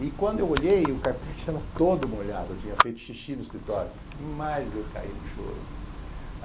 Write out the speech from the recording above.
E quando eu olhei, o carpete estava todo molhado, eu tinha feito xixi no escritório, mas eu caí no choro.